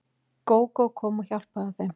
Gógó kom og hjálpaði þeim.